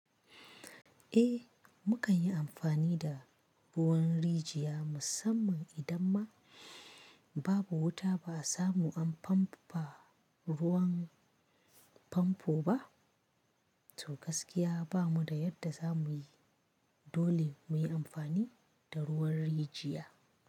Eh, mu kan yi amfani da ruwan rijiya musamman idan ma babu wuta ba a samu an famfa ruwan famfo ba. To gaskiya bamu da yadda za mu yi, dole mu yi amfani da ruwan rijiya.